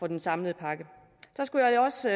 en samlet pakke så skulle jeg også